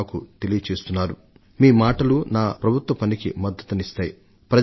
మీరు చెబుతున్న దాంట్లో చాలా మాటలు ప్రభుత్వాన్ని నడపడంలో నాకు ఎంతగానో సహాయపడుతున్నాయి